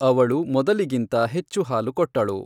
ಅವಳು ಮೊದಲಿಗಿಂತ ಹೆಚ್ಚು ಹಾಲು ಕೊಟ್ಟಳು.